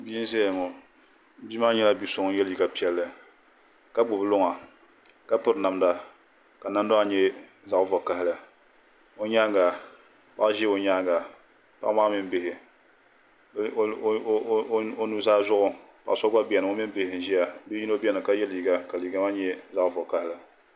Bia n za ya ŋɔ bia maa yɛla bi so ŋun yiɛ liiga piɛlli ka gbubi luŋa ka piri namda ka namda maa yɛ zaɣi vakahali o yɛanga paɣa zi o yɛanga paɣa maa mini bihi o nu zaa zuɣu paɣa so gba bɛni o mini bihi bia yino bɛni ka yiɛ liiga maa yɛ zaɣi vakahali.